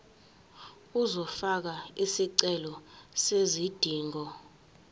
uzofaka isicelo sezidingo